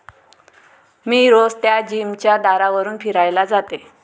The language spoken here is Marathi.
मी रोज त्या जिमच्या दारावरून फिरायला जाते.